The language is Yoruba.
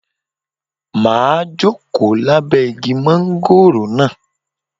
Màá jókòó lábẹ́ igi mángóròò náà